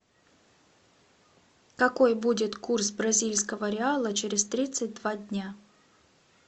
какой будет курс бразильского реала через тридцать два дня